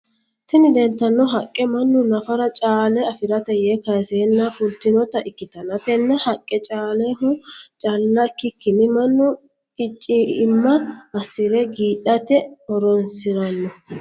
Tinni leeltano haqa mannu nafara caale afirate yee kaaseenna fultinota ikitanna tenne haqe caaleho calla ikikinni mannu icima asire giidhate horoonsirano.